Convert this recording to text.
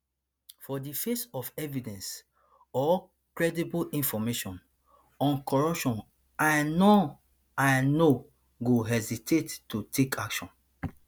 for di face of evidence or credible information on corruption i no i no go hesitate to take action